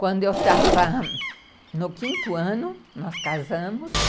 Quando eu estava no quinto ano, nós casamos.